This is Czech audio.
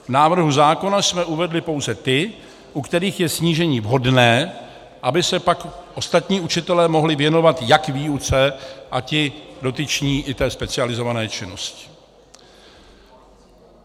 V návrhu zákona jsme uvedli pouze ty, u kterých je snížení vhodné, aby se pak ostatní učitelé mohli věnovat jak výuce a ti dotyční i té specializované činnosti.